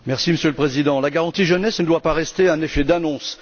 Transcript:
Monsieur le Président, la garantie jeunesse ne doit pas rester un effet d'annonce.